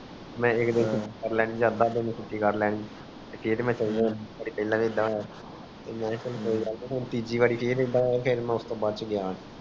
ਤੀਜੀ ਬਾਰੀ ਹੁਣ ਇਦਾ ਹੋਇਆ ਮੈਂ ਉਸ ਟੋਹ ਬਚ ਗਯਾ